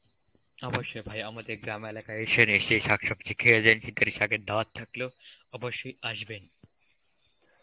অবশ্যই ভাই আমাদের গ্রাম এলাকায় এসেন এসে শাক সবজি খেয়ে যেয়েন শাগের দাওয়াত থাকলো, অবশ্যই আসবেন.